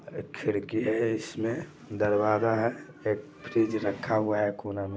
एक खिड़की है इसमें दरवाजा है एक फ्रिज रखा हुआ है कोने में |